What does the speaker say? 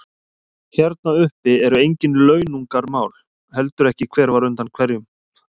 Hérna uppi eru engin launungarmál, heldur ekki hver var undan hverjum.